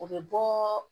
O bɛ bɔɔɔ